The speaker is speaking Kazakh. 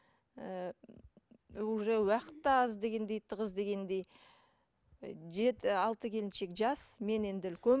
ыыы уже уақыт та аз дегендей тығыз дегендей ы жеті алты келіншек жас мен енді үлкен